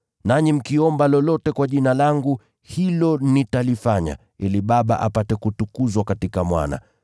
Nanyi mkiomba lolote kwa Jina langu, hilo nitalifanya, ili Baba apate kutukuzwa katika Mwana.